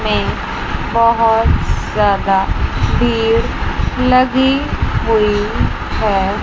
में बहुत ज्यादा भीड़ लगी हुई है।